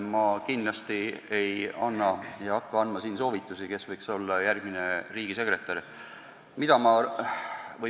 Ma kindlasti ei anna ega hakka andma soovitusi, kes võiks olla järgmine riigisekretär.